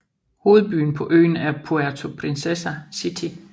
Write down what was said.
Hovedbyen på øen er Puerto Princesa City